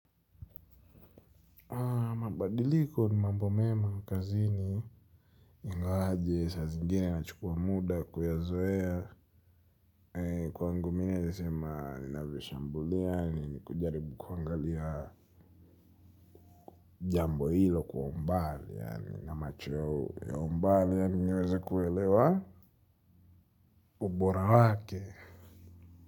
Mabadiliko ni mambo mema kazi ni inga waje saa zingine na chukua muda kuyazoea kwa ngu mine ya sema na vishambulia ni kujaribu kuangalia jambo hilo kwa umbali ya ni na macho ya umbali ya ni nyeweza kuwelewa ubora wake.